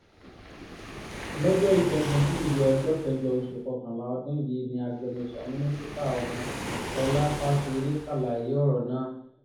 lọ́jọ́ ìṣẹ́gun tusidee ọjọ́ kẹjọ oṣù kọkànlá ọdún yìí ni agbẹnusọ mínísítà ọ̀hún sọlá fásiré ṣàlàyé ọ̀rọ̀ náà